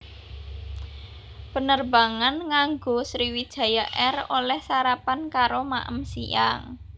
Penerbangan nganggo Sriwijaya Air oleh sarapan karo maem siang